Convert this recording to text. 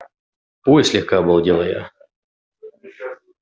ой слегка обалдела я